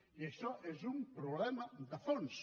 i això és un problema de fons